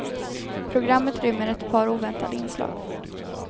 Programmet rymmer ett par oväntade inslag.